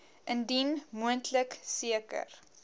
indien moontlik seker